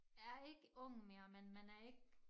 Er ikke ung mere men man er ikke